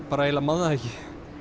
bara eiginlega man það ekki